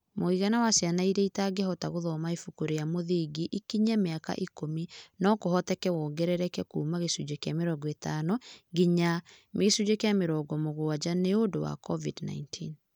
Mũigana wa ciana iria itangĩhota gũthoma ibuku rĩa mũthingi ikinyia mĩaka ikũmi no kũhoteke wongerereke kuuma 50% nginya 70% nĩ ũndũ wa COVID-19.